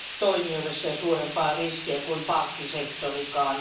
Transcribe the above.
toimijoille sen suurempaa riskiä kuin pankkisektorikaan.